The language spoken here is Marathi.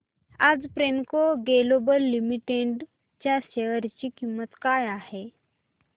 आज प्रेमको ग्लोबल लिमिटेड च्या शेअर ची किंमत काय आहे